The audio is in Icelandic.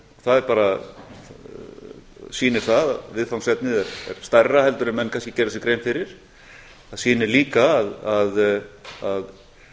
það bara sýnir það að viðfangsefnið er stærra heldur en menn kannski gerðu sér grein fyrir það sýnir líka að